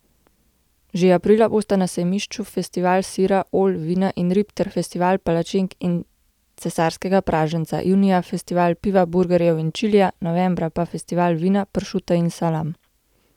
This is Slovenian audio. Že aprila bosta na sejmišču Festival sira, olj, vina in rib ter Festival Palačink in cesarskega praženca, junija Festival piva, burgerjev in čilija, novembra pa Festival vina, pršuta in salam.